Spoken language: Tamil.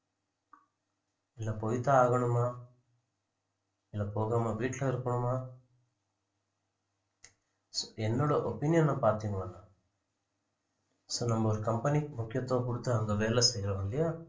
இல்ல போய்த்தான் ஆகணுமா இல்ல போகாம வீட்டுல இருக்கணுமா என்னோட opinion அ பார்த்தீங்கோன்னா so நம்ம ஒரு company க்கு முக்கியத்துவம் குடுத்து அங்க வேலை செய்றோம் இல்லையா